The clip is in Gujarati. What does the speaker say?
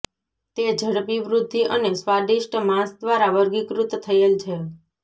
તે ઝડપી વૃદ્ધિ અને સ્વાદિષ્ટ માંસ દ્વારા વર્ગીકૃત થયેલ છે